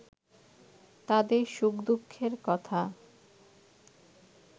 তাদের সুখ-দুঃখের কথা